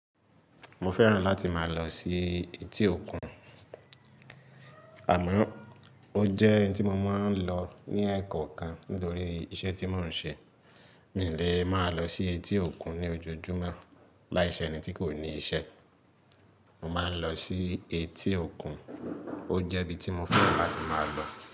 Mo fẹ́ràn láti máa lọ sí etí òkun, àmọ́ o jẹ́ ntí mo máa ń lọ ní ẹ̀kọ̀ọkan nítorí iṣẹ́ tí mò ń ṣe. Mì lè máa lọ sí etí òkun ní ojojúmọ́ láìṣe ẹni tí kò ní isẹ́. Mo máa ń lọ sí etí òkun, o jẹ́ ibi tí mo fẹ́ràn láti máa lọ.